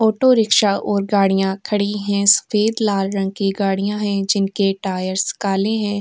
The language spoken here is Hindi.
ऑटो रिक्शा और गाड़ियां खड़ी हैं। सफेद लाल रंग की गाड़ियां हैं जिनके टायर्स काले हैं।